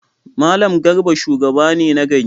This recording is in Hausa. Mallam Garba shugaba ne na gari.